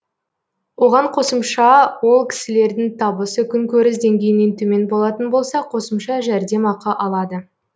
оған қосымша ол кісілердің табысы күнкөріс деңгейінен төмен болатын болса қосымша жәрдемақы алады